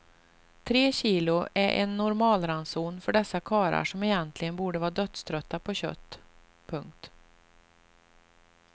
Tre kilo är en normalranson för dessa karlar som egentligen borde vara dödströtta på kött. punkt